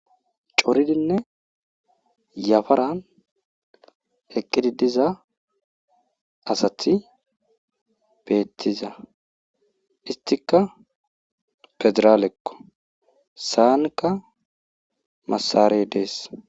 Coridinne yafaran eqidi diza asati betiza , istika federaleko , sa'anka masarey Des.